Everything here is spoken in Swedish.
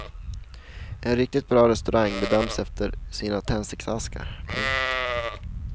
En riktigt bra restaurang bedöms efter sina tändsticksaskar. punkt